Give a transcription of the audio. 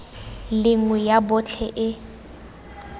le nngwe ya botlhe e